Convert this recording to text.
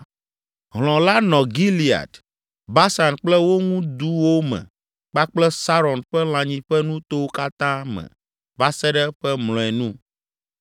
Hlɔ̃ la nɔ Gilead, Basan kple wo ŋu duwo me kpakple Saron ƒe lãnyiƒe nutowo katã me va se ɖe eƒe mlɔenu.